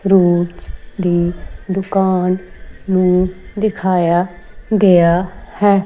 ਰੋਜ ਦੀ ਦੁਕਾਨ ਨੂੰ ਦਿਖਾਇਆ ਗਿਆ ਹੈ।